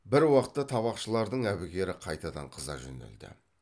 бір уақытта табақшылардың әбігері қайтадан қыза жөнелді